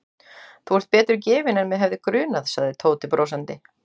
Þú ert betur gefinn en mig hefði grunað sagði Tóti brosandi.